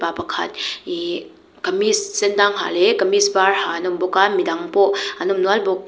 pakhat ihh kamis sen dang ha leh kamis var ha an awm bawk a midang pawh an awm nual bawk.